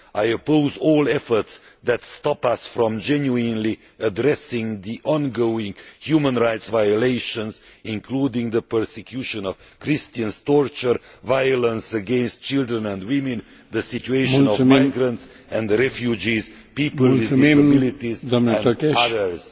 I oppose all efforts that stop us from genuinely addressing the ongoing human rights violations, including the persecution of Christians, torture, violence against children and women, the situation on migrants and refugees, people with disabilities and others.